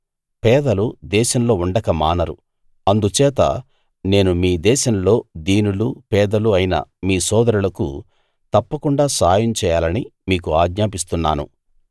పేదలు దేశంలో ఉండక మానరు అందుచేత నేను మీ దేశంలో దీనులు పేదలు అయిన మీ సోదరులకు తప్పకుండా సహాయం చేయాలని మీకు ఆజ్ఞాపిస్తున్నాను